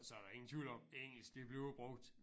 Så der ingen tvivl om engelsk det bliver brugt